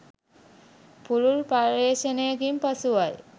පුළුල් පර්යේෂණයකින් පසුවයි.